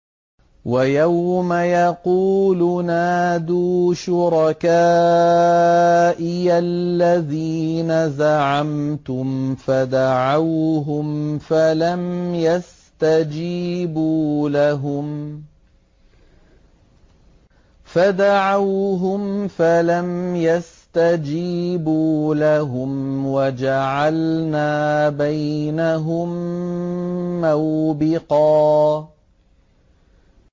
وَيَوْمَ يَقُولُ نَادُوا شُرَكَائِيَ الَّذِينَ زَعَمْتُمْ فَدَعَوْهُمْ فَلَمْ يَسْتَجِيبُوا لَهُمْ وَجَعَلْنَا بَيْنَهُم مَّوْبِقًا